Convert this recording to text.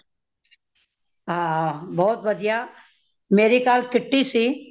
ਹਾ ਬਹੁਤ ਵਦੀਆਂ, ਮੇਰੀ ਕਾਲ kitty ਸੀ।